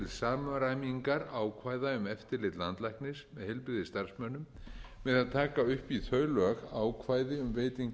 til samræmingar ákvæða um eftirlit landlæknis með heilbrigðisstarfsmönnum með því að taka upp í þau lög ákvæði um